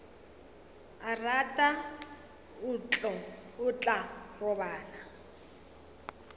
a rata o tla robala